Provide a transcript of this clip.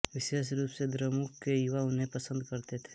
विशेष रूप से द्रमुक के युवा उन्हें पसंद करते थे